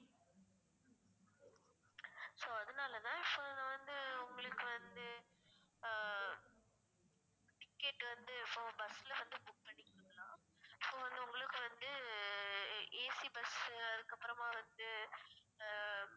so அதனாலதான் இப்ப நான் வந்து உங்களுக்கு வந்து ஆஹ் ticket வந்து இப்போ bus ல வந்து book பண்ணி so வந்து உங்களுக்கு வந்து AC bus அதுக்கப்புறமா வந்து ஆஹ்